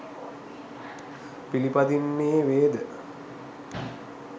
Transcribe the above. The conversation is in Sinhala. පිළිපදින්නේ වේද